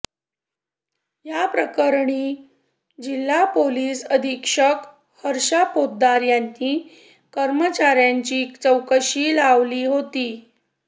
या प्रकरणी जिल्हा पोलीस अधीक्षक हर्ष पोद्दार यांनी कर्मचार्यांची चौकशी लावली होती